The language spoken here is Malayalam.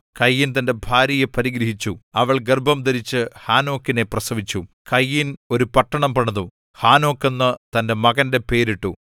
കയീൻ തന്റെ ഭാര്യയെ പരിഗ്രഹിച്ചു അവൾ ഗർഭംധരിച്ചു ഹാനോക്കിനെ പ്രസവിച്ചു കയീൻ ഒരു പട്ടണം പണിതു ഹാനോക്ക് എന്നു തന്റെ മകന്റെ പേരിട്ടു